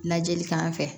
Lajɛli k'an fɛ